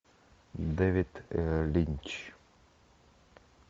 дэвид линч